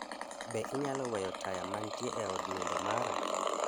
Be inyalo weyo taya mantie e od nindo mara